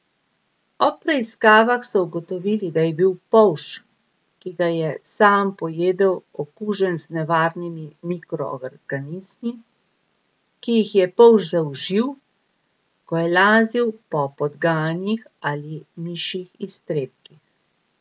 Ob preiskavah so ugotovili, da je bil polž, ki ga je sam pojedel okužen z nevarnimi mikroorganizmi, ki jih je polž zaužil, ko je lazil po podganjih ali mišjih iztrebkih.